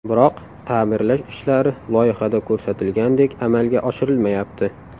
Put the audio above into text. Biroq ta’mirlash ishlari loyihada ko‘rsatilgandek amalga oshirilmayapti.